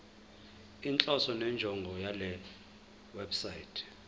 inhloso nenjongo yalewebsite